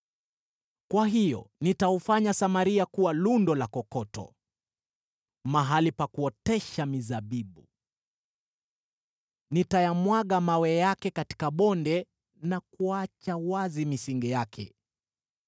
“Kwa hiyo nitaufanya Samaria kuwa lundo la kokoto, mahali pa kuotesha mizabibu. Nitayamwaga mawe yake katika bonde na kuacha wazi misingi yake.